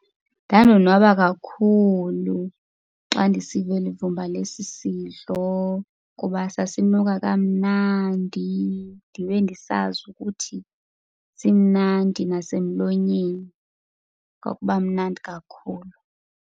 Ndandonwaba kakhulu xa ndisiva eli vumba lesi sidlo ngoba sasinuka kamnandi ndibe ndisazi ukuthi simnandi nasemlonyeni. Kwakuba mnandi kakhulu.